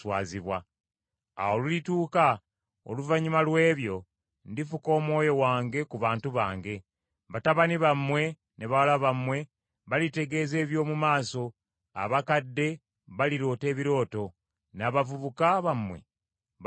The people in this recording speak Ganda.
“Awo olulituuka oluvannyuma lw’ebyo, ndifuka Omwoyo wange ku bantu bonna. Batabani bammwe ne bawala bammwe balitegeeza eby’omu maaso; abakadde baliroota ebirooto, n’abavubuka bammwe balyolesebwa.